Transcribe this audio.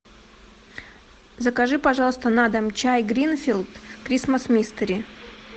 закажи пожалуйста на дом чай гринфилд крисмас мистери